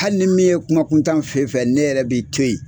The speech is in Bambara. Hali ni min ye kuma kuntan fɔ e fɛ ne yɛrɛ b'i to yen